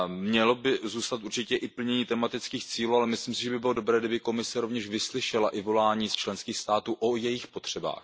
Mělo by zůstat určitě i plnění tematických cílů, ale myslím si, že by bylo dobré, kdyby Komise rovněž vyslyšela i volání z členských států týkající se jejich potřeb.